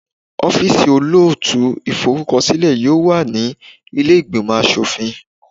Ọ́fíìsì olóòtú ìforúkọsílẹ̀ yóò wà ní ilé ìgbìmò aṣòfin.